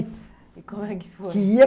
E como é que foi? Que ia